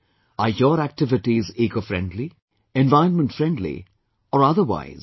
Are your activities ecofriendly, environment friendly or otherwise